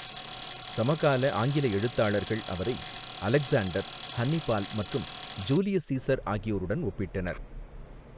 சமகால ஆங்கில எழுத்தாளர்கள் அவரை அலெக்சாண்டர், ஹன்னிபால் மற்றும் ஜூலியஸ் சீசர் ஆகியோருடன் ஒப்பிட்டனர்.